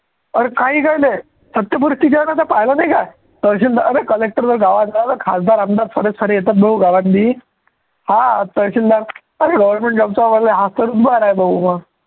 अरे काहीही काय ते सत्य परिस्थिति आहे ना पहिलं नाही का तहसीलदार अरे collector आहे गावातला खासदार, आमदार सर्वेचे सर्वे येतात भाऊ गावातली हा तहसीलदार अरे government job चा करून भाऊ मग